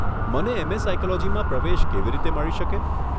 મને એમ.એ. સાયકોલોજીમાં પ્રવેશ કેવી રીતે મળી શકે?